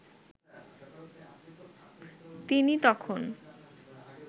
তিনি তখন